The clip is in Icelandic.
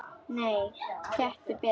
Nei, gettu betur